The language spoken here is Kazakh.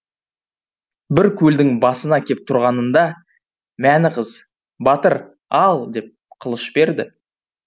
бір көлдің басына кеп тұрғанында мәні қыз батыр ал деп қылыш берді